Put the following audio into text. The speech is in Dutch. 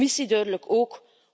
De Commissie duidelijk ook.